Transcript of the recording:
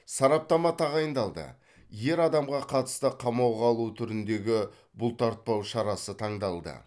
сараптама тағайындалды ер адамға қатысты қамауға алу түріндегі бұлтартпау шарасы таңдалды